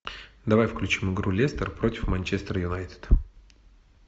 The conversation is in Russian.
давай включим игру лестер против манчестер юнайтед